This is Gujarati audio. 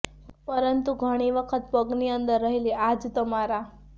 પરંતુ ઘણી વખત પગ ની અંદર રહેલી આ જ તમારા